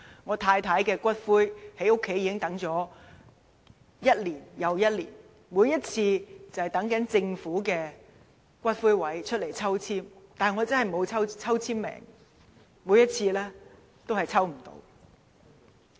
我太太的骨灰放在家裏已經一年又一年，每次都等政府的龕位抽籤，但我真的沒有抽籤運，每次都抽不中。